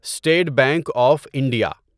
state bank of India